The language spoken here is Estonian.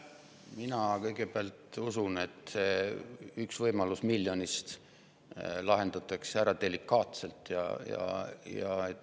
Kõigepealt, mina usun, et see üks võimalus miljonist lahendatakse ära delikaatselt.